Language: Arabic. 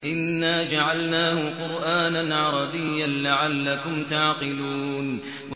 إِنَّا جَعَلْنَاهُ قُرْآنًا عَرَبِيًّا لَّعَلَّكُمْ تَعْقِلُونَ